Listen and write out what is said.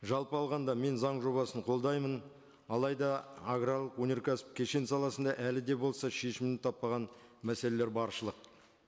жалпы алғанда мен заң жобасын қолдаймын алайда аграрлық өнеркәсіп кешен саласында әлі де болса шешімін таппаған мәселелер баршылық